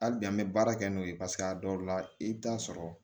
Hali bi an bɛ baara kɛ n'o ye paseke a dɔw la i bɛ taa sɔrɔ